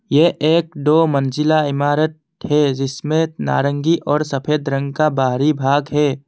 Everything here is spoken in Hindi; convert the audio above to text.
यह एक दो मंजिला इमारत है जिसमे नारंगी और सफेद रंग का बाहरी भाग है।